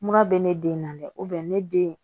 Mura bɛ ne den na dɛ ne den